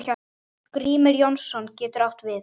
Grímur Jónsson getur átt við